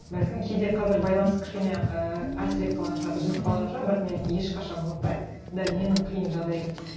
бәлкім кейде қазір байланыс кішкене ыыы әлсіреп қалған шығар үзіліп қалған шығар бірақ мен ешқашан ұмытпаймын дәл менің қиын жағдайым